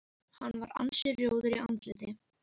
Hann var ansi rjóður í andliti.